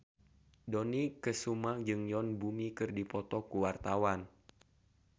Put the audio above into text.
Dony Kesuma jeung Yoon Bomi keur dipoto ku wartawan